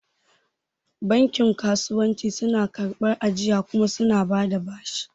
Bankin kasuwanci suna karɓar ajiya kuma suna bada bashi